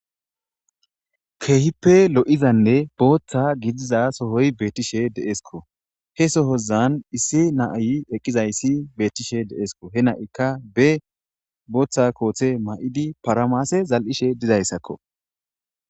keehippe lo7izanne booththa gidiza sohoy beettishe de7esko he sohozan issi naayi eqqizayssi beettishe deesko he na7ikka be booththa koothe ma7idi paramaase zal7ishe dizayssakko